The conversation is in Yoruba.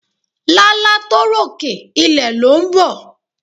Lálá tó ròkè, ilẹ̀ lọ ń bọ̀.